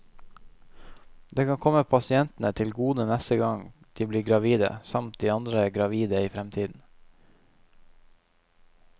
Det kan komme pasientene til gode neste gang de blir gravide, samt andre gravide i fremtiden.